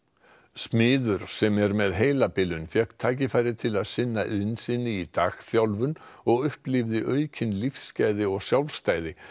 smiður sem er með heilabilun fékk tækifæri til að sinna iðn sinni í dagþjálfun og upplifði aukin lífsgæði og sjálfstæði